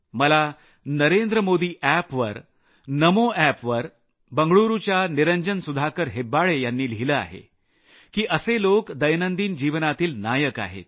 मला नरेंद्रमोदी एप वर नमो एप वर बंगळुरूच्या निरंजन सुधाकर हेब्बाले यांनी लिहिलं आहे की असे लोक दैनंदिन जीवनातील नायक आहेत